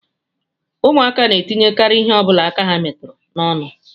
Ụmụaka na-etinyekarị ihe ọ bụla aka ha metụrụ n'ọnụ